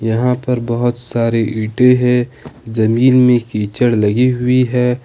यहां पर बहुत सारी ईंटे है जमीन में कीचड़ लगी हुई है।